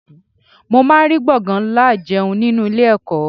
Mo máa ń rí gbọ̀ngán ìjẹun nlá ninu ọgbà ilé ẹ̀kọ́.